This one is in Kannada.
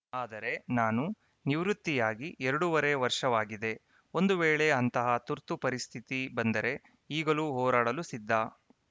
ಆದರೆ ನಾನು ನಿವೃತ್ತಿಯಾಗಿ ಎರಡೂವರೆ ವರ್ಷವಾಗಿದೆ ಒಂದು ವೇಳೆ ಅಂತಹ ತುರ್ತು ಪರಿಸ್ಥಿತಿ ಬಂದರೆ ಈಗಲೂ ಹೋರಾಡಲು ಸಿದ್ಧ